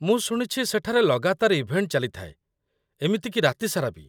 ମୁଁ ଶୁଣିଛି ସେଠାରେ ଲଗାତାର ଇଭେଣ୍ଟ ଚାଲିଥାଏ, ଏମିତି କି ରାତି ସାରା ବି ?